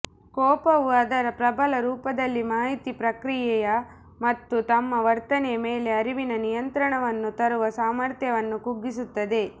ಕೋಪವು ಅದರ ಪ್ರಬಲ ರೂಪದಲ್ಲಿ ಮಾಹಿತಿ ಪ್ರಕ್ರಿಯೆಯ ಮತ್ತು ತಮ್ಮ ವರ್ತನೆಯ ಮೇಲೆ ಅರಿವಿನ ನಿಯಂತ್ರಣವನ್ನು ತರುವ ಸಾಮರ್ಥ್ಯವನ್ನು ಕುಗ್ಗಿಸುತ್ತದೆ